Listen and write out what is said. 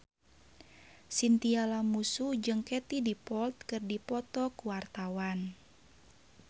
Chintya Lamusu jeung Katie Dippold keur dipoto ku wartawan